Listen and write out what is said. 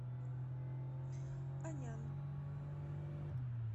анян